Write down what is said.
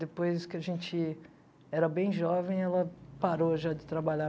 Depois que a gente era bem jovem, ela parou já de trabalhar.